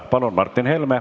Palun, Martin Helme!